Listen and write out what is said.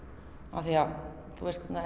af því að þú veist hvernig